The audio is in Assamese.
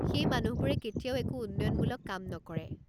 সেই মানুহবোৰে কেতিয়াও একো উন্নয়নমূলক কাম নকৰে।